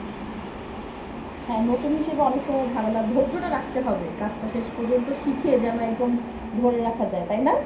হ্যাঁ নতুন হিসেবে অনেক সময় ঝামেলা ধৈর্য টা রাখতে হবে কাজটা শেষ পর্যন্ত শিখে যেন একদম ধরে রাখা যায় তাই না?